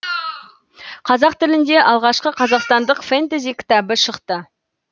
қазақ тілінде алғашқы қазақстандық фэнтези кітабы шықты